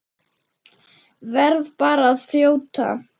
Verð bara að þjóta!